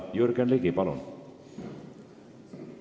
Jürgen Ligi, palun!